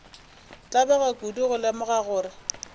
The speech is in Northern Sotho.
tlabega kudu go lemoga gore